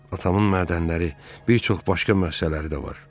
Atamın mədənləri, bir çox başqa müəssisələri də var.